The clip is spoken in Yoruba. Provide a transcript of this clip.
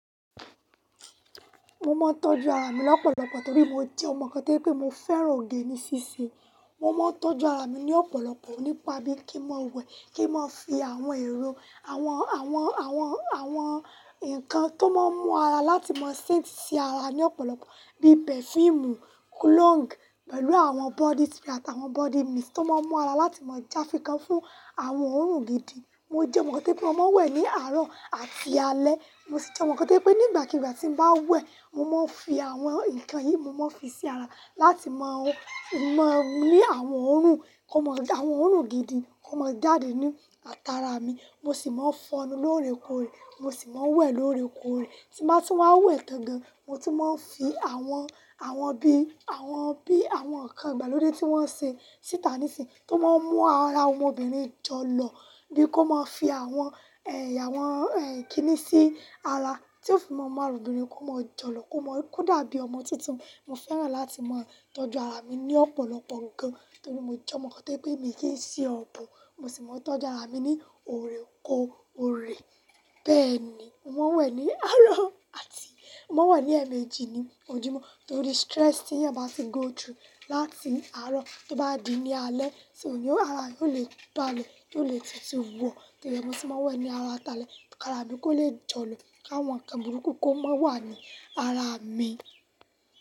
Mo máa ń tọ́jú ara mi lọ́pọ̀lọpọ̀ torí mo jẹ́ ọmọ kan tó pé mo fẹ́ràn oge ní ṣíṣe Mo máa ń tọ́jú ara mi ní ọ̀pọ̀lọpọ̀ nípa bí kí n máa wẹ̀, kí n máa fi àwọn ẹ̀rọ, àwọn ǹkan tó máa ń mú ara láti máa scent sí ara ní ọ̀pọ̀lọpọ̀ bí perfume, cologne pẹ̀lú àwọn body spray àtàwọn body mist tó máa ń mú ara láti máa já fìkan fún àwọn òórùn gidi. Mo jẹ́ ọmọ kan tó je pé mo máa ń wẹ̀ ní àárọ̀ àti alé. Mo sì jẹ́ ọmọ kan tó je pé nígbàkigbà tí n bá wẹ̀, mo máa ń fi àwọn ǹkan yìí, mo máa ń fi sí ara láti máa ní àwọn òórùn, kí ó máa, àwọn òórùn gidi kó máa dàdé ní àtàrà mi. Mo sì máa ń fọnú lóòrèkóòrè, mo sì máa ń wẹ̀ lóòrèkóòrè, ti nba tún máa wẹ̀ tán gan. Mo tun máa ń fi àwọn, àwọn bí àwọn ǹkan ìgbàlódé tí wọ́n ṣe síta níìsín tó máa ń mú ara ọmọbìnrin jọlọ bí kò máa fi àwọn kíni sí ara tí ó fi máa ń mú ara obìnrin kó máa jọlọ kò dàbí ọmọ tuntun. Mo fẹ́ràn láti máa tọ́jú ara mi ní ọ̀pọ̀lọpọ̀ gan torí mo jẹ́ ọmọ kan tó pé mi kì í ṣe ọ̀bùn. Mo sì máa ń tọ́jú ara mi ní orekoore Bẹ́ẹ̀ ni, mo máa ń wẹ̀ ní àárọ̀ àti mo máa ń wẹ̀ ní ẹ̀ẹ̀mejì ní ojúmọ́ torí stress tí ẹ̀yàn bá ṣe go through láti àárọ̀ tó bá di ní alẹ́ so ara èèyàn o lè balẹ, yóò lè tete wo Torí rẹ, mo se máa ń wẹ̀ ní ara àtin alẹ̀ kí ara mi kó lè jọlọ, kí àwọn ǹkan burúkú kó má wà ní ara mi.